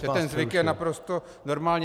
- že ten zvyk je naprosto normální.